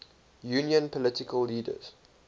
union political leaders